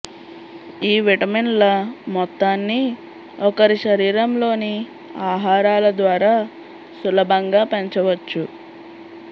ఈ విటమిన్ల మొత్తాన్ని ఒకరి శరీరంలోని ఆహారాల ద్వారా సులభంగా పెంచవచ్చు